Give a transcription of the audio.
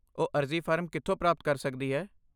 ਉਹ ਅਰਜ਼ੀ ਫਾਰਮ ਕਿੱਥੋਂ ਪ੍ਰਾਪਤ ਕਰ ਸਕਦੀ ਹੈ?